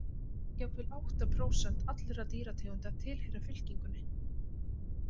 Jafnvel átta prósent allra dýrategunda tilheyra fylkingunni.